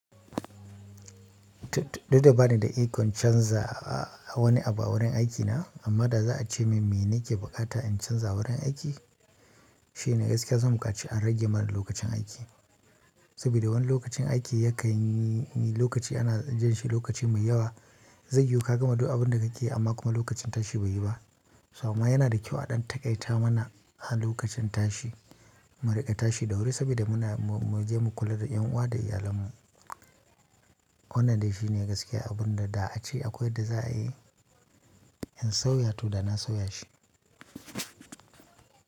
Dole ba ni da ikon canza a wani abu wurin aikina amma da za a ce min me nake bukata in canza wurin aiki shine gaskiya san bukaci a rage mana lokacin aiki saboda wani lokacin aiki yakan yi lokaci ana jan shi lokaci mai yawa zai yiwu ka gama duk abin da kake yi amma kuma lokacin tashi bai yi ba. So amma yana da kyau a ɗan taƙaita mana a lokacin tashi mu riƙa tashi da wuri saboda muna mu je mu kula da ƴanuwa da iyalanmu. Wannan dai shi ne gaskiya abun da a ce akwai yadda za a yi in sauya to da na sauya shi.